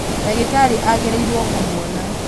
ndagĩtarĩ agĩrĩirwo kũmuona